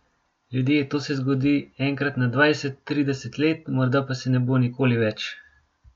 Ljudje, to se zgodi enkrat na dvajset, trideset let, morda pa se ne bo nikoli več.